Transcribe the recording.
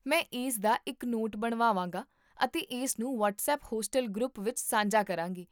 ਮੈਂ ਇਸ ਦਾ ਇੱਕ ਨੋਟ ਬਣਾਵਾਂਗਾ ਅਤੇ ਇਸਨੂੰ ਵ੍ਹਾਟਸਪੱਪ ਹੋਸਟਲ ਗਰੁੱਪ ਵਿੱਚ ਸਾਂਝਾ ਕਰਾਂਗੀ